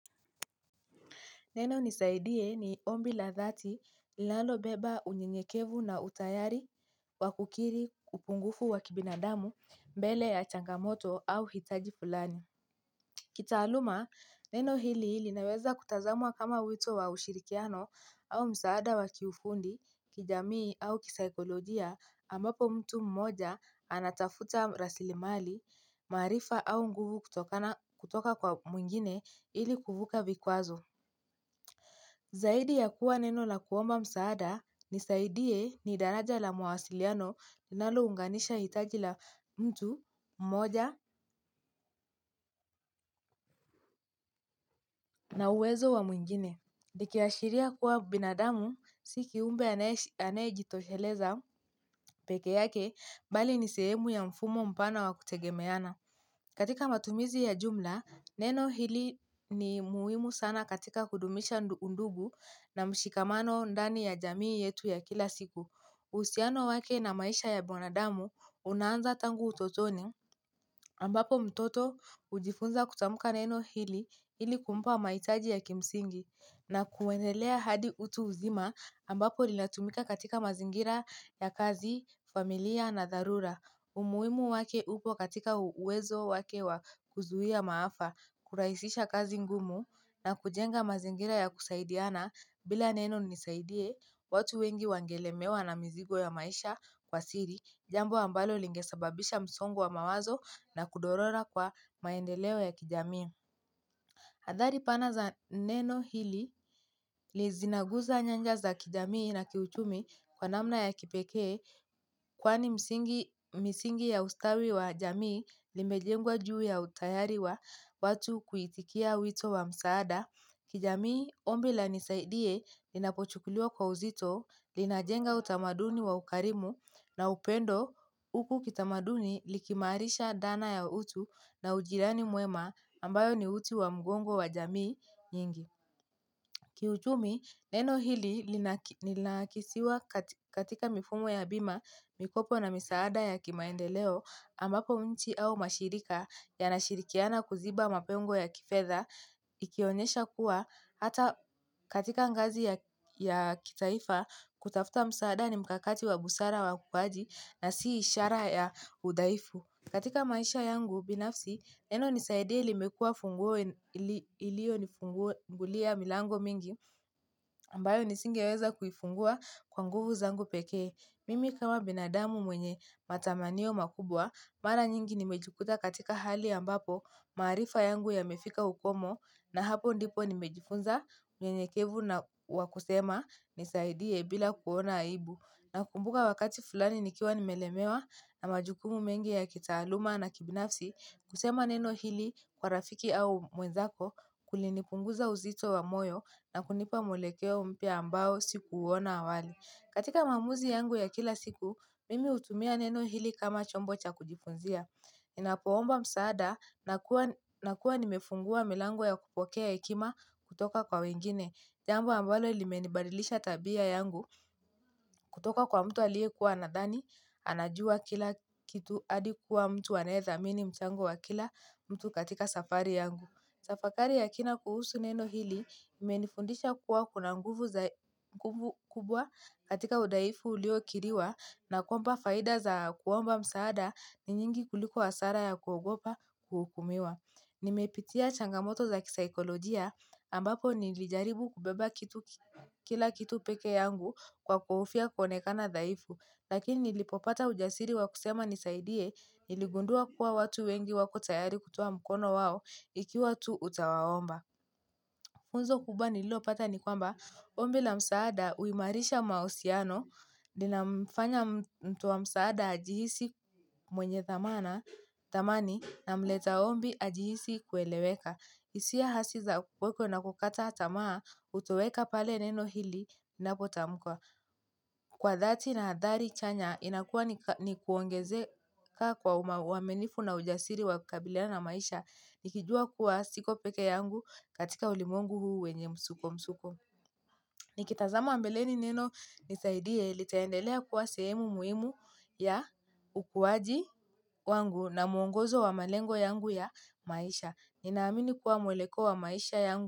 Neno nisaidie ni ombi la dhati lalobeba unyenyekevu na utayari wakukiri upungufu wakibinadamu mbele ya changamoto au hitaji fulani. Kitaaluma neno hili linaweza kutazamwa kama wito wa ushirikiano au msaada wa kiufundi kijamii au kisaikolojia ambapo mtu mmoja anatafuta rasilimali maarifa au nguvu kutoka kwa mwingine ili kuvuka vikwazo. Zaidi ya kuwa neno la kuomba msaada nisaidiye ni daraja la mwasiliano nalo unganisha itaji la mtu, mmoja na uwezo wa mwingine. Likiashiria kuwa binadamu, sikiumbe anejitosheleza peke yake, bali nisehemu ya mfumo mpana wa kutegemeyana. Katika matumizi ya jumla, neno hili ni muwimu sana katika kudumisha undugu na mshikamano ndani ya jamii yetu ya kila siku. Usiano wake na maisha ya mwanadamu unanza tangu utotoni ambapo mtoto ujifunza kutamuka neno hili ili kumpa maitaji ya kimsingi na kuwendelea hadi utu uzima ambapo linatumika katika mazingira ya kazi, familia na darura. Umuimu wake upo katika uwezo wake wa kuzuhia maafa kuraisisha kazi ngumu na kujenga mazingira ya kusaidiana bila neno nisaidie watu wengi wangelemewa na mzigo ya maisha kwa siri jambo ambalo lingesababisha msongo wa mawazo na kudorora kwa maendeleo ya kijami. Athari pana za neno hili zinaguza nyanja za kijamii na kiuchumi kwa namna ya kipekee kwani misingi ya ustawi wa jamii limejengwa juu ya utayari wa watu kuitikia wito wa msaada. Kijamii ombi la nisaidie linapochukuliwa kwa uzito, linajenga utamaduni wa ukarimu na upendo huku kitamaduni likiimarisha dhana ya utu na ujirani mwema ambayo ni uti wa mgongo wa jamii nyingi. Kiuchumi, neno hili linakisiwa katika mifumo ya bima, mikopo na misaada ya kimaendeleo, ambapo nchi au mashirika yanashirikiana kuziba mapengo ya kifedha, ikionyesha kuwa hata katika ngazi ya kitaifa kutafuta msaada ni mkakati wa busara wa ukwaji na si ishara ya udhaifu. Katika maisha yangu binafsi, neno nisaidie limekua funguo iliyonifungulia milango mingi, ambayo nisingiweza kufungua kwa nguvu zangu pekee. Mimi kama binadamu mwenye matamanio makubwa, mara nyingi nimejikuta katika hali ambapo, maarifa yangu yamefika ukomo, na hapo ndipo nimejifunza unyenyekevu na wa kusema nisaidie bila kuona aibu. Nakumbuka wakati fulani nikiwa nimelemewa na majukumu mengi ya kitaaluma na kibinafsi kusema neno hili kwa rafiki au mwenzako kulinipunguza uzito wa moyo na kunipa mwelekeo mpya ambao sikuuona awali. Katika maamuzi yangu ya kila siku mimi hutumia neno hili kama chombo cha kujifunzia ninapoomba msaada nakuwa nimefungua milango ya kupokea hekima kutoka kwa wengine. Jambo ambalo ilimenibadilisha tabia yangu, kutoka kwa mtu aliyekuwa anadhani, anajua kila kitu hadi kuwa mtu aneyethamini mchango wa kila mtu katika safari yangu. Tafakari ya kina kuhusu neno hili, imenifundisha kuwa kuna nguvu kubwa katika udhaifu uliokiriwa na kwamba faida za kuomba msaada ni nyingi kuliko hasara ya kuogopa kuhukumiwa. Nimepitia changamoto za kisaikolojia ambapo nilijaribu kubeba kila kitu pekee yangu kwa kuhofia kuonekana dhaifu. Lakini nilipopata ujasiri wa kusema nisaidie niligundua kuwa watu wengi wako tayari kutoa mkono wao ikiwa tu utawaomba funzo kubwa nililo pata ni kwamba, ombi la msaada huimarisha mahusiano, linamfanya mtu wa msaada ajihisi mwenye thamani na mleta ombi ajihisi kueleweka. Hisia hasi za kuweko na kukata tamaa hutoweka pale neno hili napotamukwa. Kwa dhati na hadhari chanya inakuwa ni kuongeze ka kwa uaminifu na ujasiri wa kabiliana na maisha. Nikijua kuwa siko pekee yangu katika ulimwengu huu wenye msuko msuko nikitazama mbeleni neno nisaidie litaendelea kuwa sehemu muhimu ya ukuwaji wangu na mwongozo wa malengo yangu ya maisha.